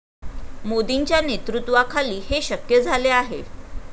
मोदींच्या नेतृत्वाखाली हे शक्य झाले आहे.